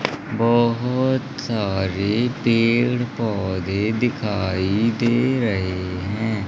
बहोत सारे पेड़ पौधे दिखाई दे रहे हैं।